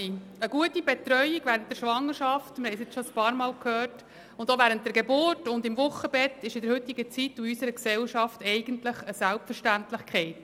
Eine gute Betreuung während der Schwangerschaft, während der Geburt und dem Wochenbett ist in der heutigen Zeit und in unserer Gesellschaft eigentlich eine Selbstverständlichkeit.